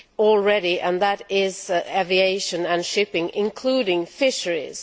already and those are aviation and shipping including fisheries.